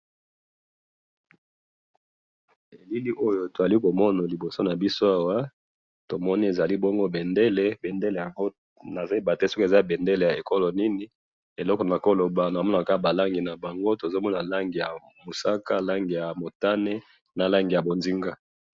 na bilili oyo tozali komona liboso nabiso awa, tomoni ezali bongo bendele, nazoyebate soki eza bendele ya ekolo nini, eloko nakoloba namonaka ba langi na bango, tozomona langi ya mosaka, langi ya motane, na langi ya buzinga